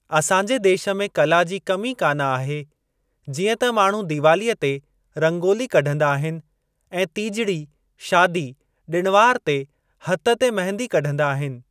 असांजे देश में कला जी कमी कान आहे जीअं त माण्हू दीवालीअ ते रंगोली कढंदा आहिनि ऐं तीजड़ी, शादी, ॾिण वार ते हथ ते मेहंदी कढंदा आहिनि।